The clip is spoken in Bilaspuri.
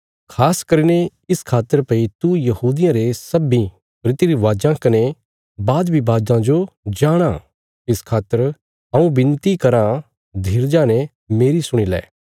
खास करीने इस खातर भई तू यहूदियां रे सब्बीं रीति रिवाजां कने विवादां जो जाणाँ इस खातर हऊँ विनती कराँ धीरजा ने मेरी सुणी लै